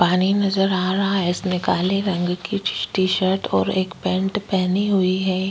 पानी नजर आ रहा है इसने काले रंग की टीशर्ट और एक पैंट पहनी हुई है।